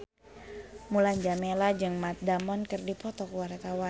Mulan Jameela jeung Matt Damon keur dipoto ku wartawan